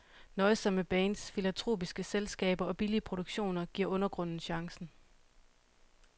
Nøjsomme bands, filantropiske selskaber og billige produktioner giver undergrunden chancen.